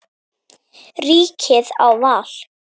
Ríkið á val.